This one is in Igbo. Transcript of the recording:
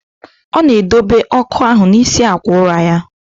Ọ na edobe ọkụ ahụ n'isi akwa ụra ya.